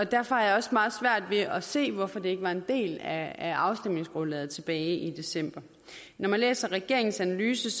derfor har jeg også meget svært ved at se hvorfor det ikke var en del af afstemningsgrundlaget tilbage i december når man læser regeringens analyse